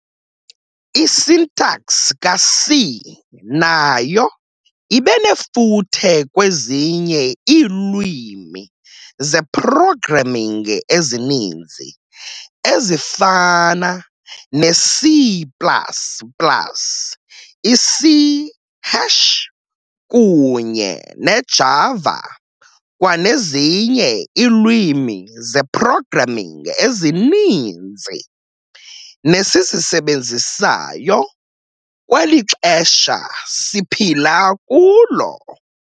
I-syntax ka-C nayo ibenefuthe kwezinye iilwimi ze-programming ezininzi, ezifana ne-C plus plus, i-C hash, kunye ne-Java, kwanezinye iilwimi ze-programming ezininzi nesizisebenzisayo kweli xesha siphila kulo.